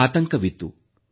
ಆತಂಕವಿತ್ತು